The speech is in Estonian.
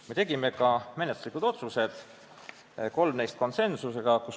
Me tegime ka menetluslikud otsused, kolm neist konsensuslikult.